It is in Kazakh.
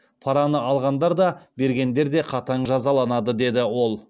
параны алғандар да бергендер де қатаң жазаланады деді ол